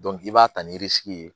i b'a ta ni ye